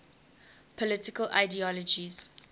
political ideologies